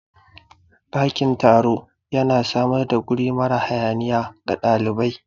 Ɗakin taro yana samar da guri mara hayaniya ga ɗalibai